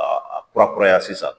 A a kura kuraya sisan